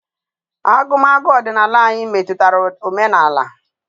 Agụmagụ ọdịnala anyi metụtara omenala.